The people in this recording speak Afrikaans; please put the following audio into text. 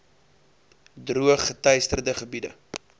droog geteisterde gebiede